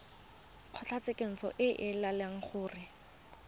kgotlatshekelo e ka laela gore